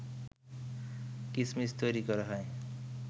কিসমিস তৈরি করা হয়